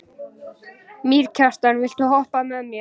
Mýrkjartan, viltu hoppa með mér?